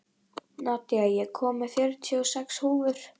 Nadia, ég kom með fjörutíu og sex húfur!